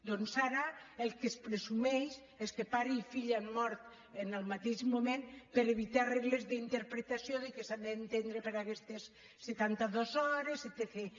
doncs ara el que es presumeix és que pare i fill han mort en el mateix moment per evitar regles d’interpretació de què s’ha d’entendre per aquestes setanta dues hores etcètera